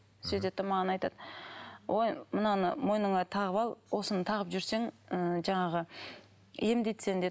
сөйтеді де маған айтады ой мынаны мойныңа тағып ал осыны тағып жүрсең ыыы жаңағы емдейді сені деді